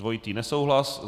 Dvojitý nesouhlas.